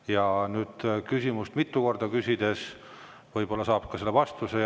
Ja küsimust mitu korda küsides võib-olla saab ka vastuse.